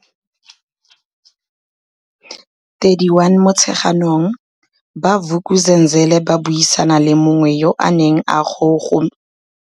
31 Motsheganong, ba Vuk'uzenzele ba buisana le mongwe yo a neng a gosometse ka tlhogo mo motsokong gore ene o tswile jang mo nkgong eno ya tiriso ya motsoko.